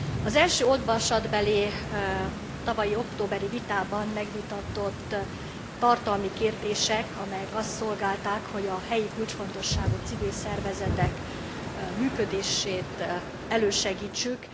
Az első olvasatbeli tavaly októberi vitában megvitatott tartalmi kérdések, amelyek azt szolgálták, hogy a helyi kulcsfontosságú civil szervezetek működését elősegítsük.